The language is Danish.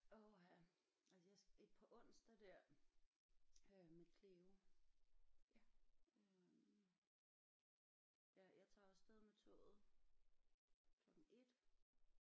Åh ha altså jeg skal ik på onsdag der øh med Cleo øh ja jeg tager af sted med toget klokken 1